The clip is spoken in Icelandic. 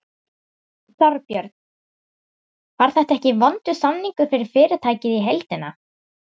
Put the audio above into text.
Þorbjörn: Var þetta ekki vondur samningur fyrir fyrirtækið í heildina?